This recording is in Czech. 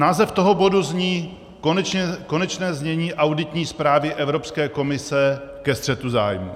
Název toho bodu zní Konečné znění auditní zprávy Evropské komise ke střetu zájmů.